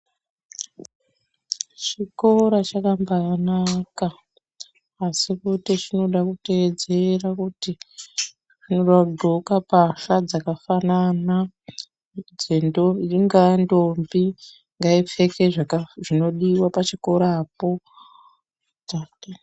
Chikora chakaambanaka asi kuti chinoda kuteedzera kuti vanodhxoka mbasha dzakafanana ingaa ntombi ngaipfeke zvinodiwa ngaipfeke zvinodiwa pachokora ipapo.